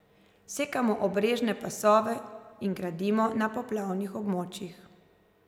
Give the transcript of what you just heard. Sekamo obrežne pasove in gradimo na poplavnih območjih.